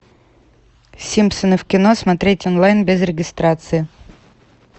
симпсоны в кино смотреть онлайн без регистрации